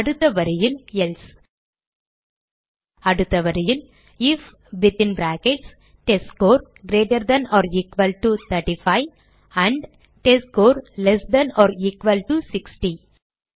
அடுத்த வரியில் எல்சே அடுத்த வரியில் I F within brackets test score greater than or equal to 35 and test score less than or equal to 60